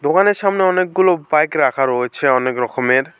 ওয়াল এর সামনে অনেকগুলো বাইক রাখা রয়েছে অনেক রকমের।